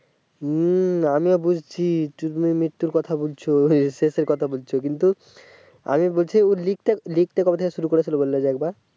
হুম আমি ও বুঝছি তুমি মৃত্যুর কথা বুলছো শেষের কথা বলছে আমি বলছি কিন্তু লিখতে লিখতে কবে থেকে শুরু করেছিল বলতো